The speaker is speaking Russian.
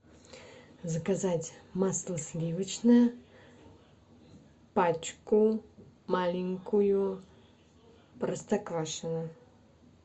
заказать масло сливочное пачку маленькую простоквашино